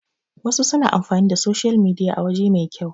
wasu suna amfani da soshiyal midiya a waje mai kyau